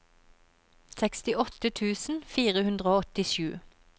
sekstiåtte tusen fire hundre og åttisju